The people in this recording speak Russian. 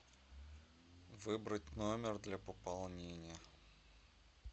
выбрать номер для пополнения